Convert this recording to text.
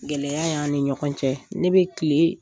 Gɛlɛya y'an ni ɲɔgɔn cɛ ne bɛ tilen